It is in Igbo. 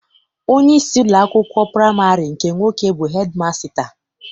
Onyeisi ụlọakwụkwọ praịmarị nke nwoke bụ hedịmasịta.